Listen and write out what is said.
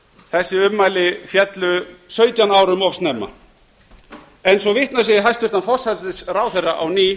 þessi ummæli féllu sautján árum of snemma svo vitnað sé í hæstvirtur forsætisráðherra á ný